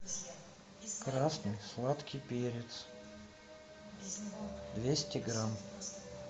красный сладкий перец двести грамм